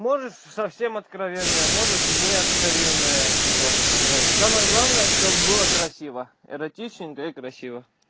можешь совсем откровенное можешь не откровенное типа блядь самое главное чтобы было красиво эротичненько и красиво